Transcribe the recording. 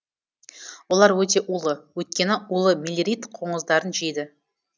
олар өте улы өйткені улы мелирид қоңыздарын жейді